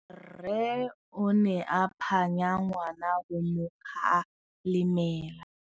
Rre o ne a phanya ngwana go mo galemela.